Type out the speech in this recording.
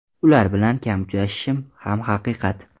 Ular bilan kam uchrashishim ham haqiqat.